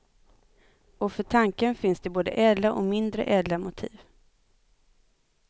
Och för tanken finns det både ädla och mindre ädla motiv.